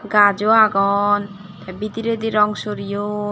gajo agon te bidiredi rong soreyon.